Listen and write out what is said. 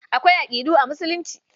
Akwai aƙidu a Musulunci.